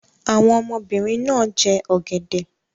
Àwọn ọmọbìnrin náà jẹ ọ̀gẹ̀dẹ̀